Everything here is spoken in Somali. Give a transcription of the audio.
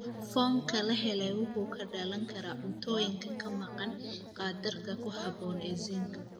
Foomka la helay wuxuu ka dhalan karaa cuntooyin ka maqan qaddarka ku habboon ee zinc.